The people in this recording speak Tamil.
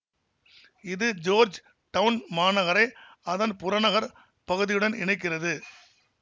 இது ஜோர்ஜ் டவுன் மாநகரை அதன் புறநகர் பகுதியுடன் இணைக்கிறது